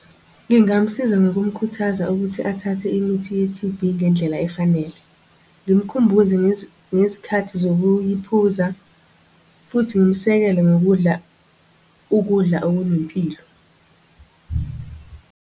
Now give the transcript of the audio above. Ngingamsiza ngokumkhuthaza ukuthi athathe imithi ye-T_B ngendlela efanele. Ngimkhumbuze ngezikhathi zokuphuza, futhi ngimsekele ngokudla. ukudla okunempilo.